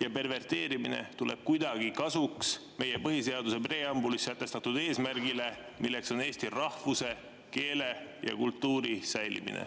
ja perverteerimine tuleb kuidagi kasuks meie põhiseaduse preambulis sätestatud eesmärgile, milleks on eesti rahvuse, keele ja kultuuri säilimine?